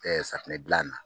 safunɛ bilanna.